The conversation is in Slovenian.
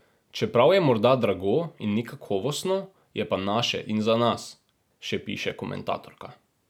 Čeprav je morda drago in ni kakovostno, je pa naše in za nas, še piše komentatorka.